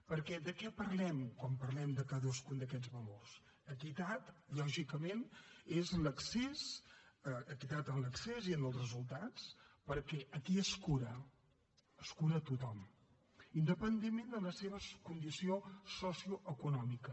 perquè de què parlem quan parlem de cadascun d’aquests valors equitat lògicament és equitat en l’accés i en els resultats perquè a qui es cura es cura a tothom independentment de la seva condició socioeconòmica